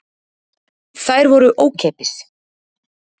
Þær voru ókeypis.